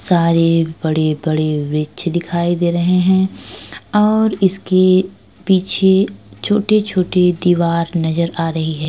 सारी बड़े-बड़े वृक्ष दिखाई दे रहे हैं और इसके पीछे छोटी-छोटी दीवार नजर आ रही हैं।